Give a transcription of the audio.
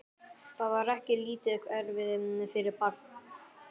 Það var ekki lítið erfiði fyrir barn.